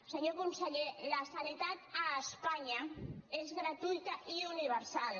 senyor conseller la sanitat a espanya és gratuïta i universal